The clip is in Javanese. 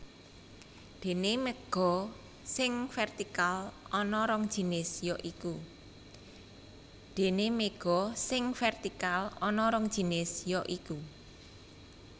Déné méga sing vértikal ana rong jinis ya iku